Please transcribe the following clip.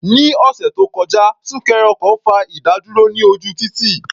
Ní ọ̀sẹ̀ tó kọjá, súnkẹrẹ ọkọ̀ fa ìdádúró ní ojú títì.